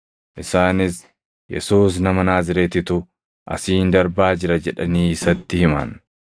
Isaanis, “Yesuus nama Naazreetitu asiin darbaa jira” jedhanii isatti himan.